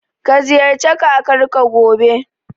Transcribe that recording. Ka ziyarci Kakarka, gobe.